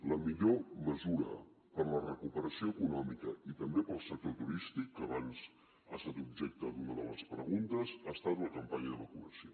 la millor mesura per la recuperació econòmica i també pel sector turístic que abans ha estat objecte d’una de les preguntes ha estat la campanya de vacunació